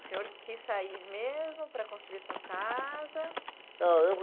O senhor quis sair mesmo para construir a sua casa?